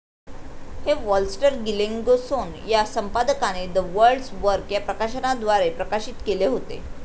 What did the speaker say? हे वॉलस्टर गिलेंगेसोन या संपादकाने द वर्ल्डस् वर्क या प्रकाशनाद्वारे प्रकाशित केले होते.